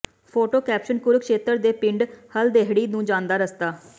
photo caption Kurukshetra ਦੇ ਪਿੰਡ ਹਲਦਹੇੜੀ ਨੂੰ ਜਾਂਦਾ ਰਸਤਾ